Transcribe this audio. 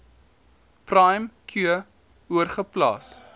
prime cure oorgeplaas